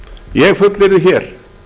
ég fullyrði hér